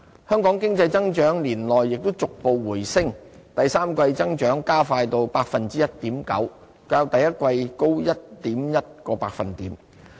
香港經濟增長年內亦逐步回升，第三季增長加快至 1.9%， 較第一季高 1.1 個百分點。